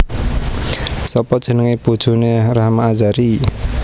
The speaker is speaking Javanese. Sopo jenenge bojone Rahma Azhari?